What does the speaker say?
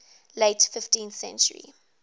late fifteenth century